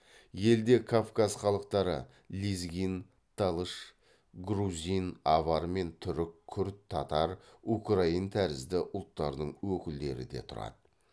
елде кавказ халықтары лезгин талыш грузин авар мен түрік күрд татар украин тәрізді ұлттардың өкілдері де тұрады